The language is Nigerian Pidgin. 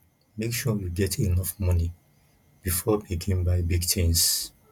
make sure you get enough money before begin buy big tins